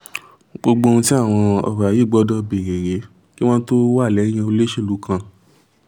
gbogbo ohun tí àwọn ọba yìí gbọ́dọ̀ béèrè rèé kí wọ́n tóó wà lẹ́yìn olóṣèlú kan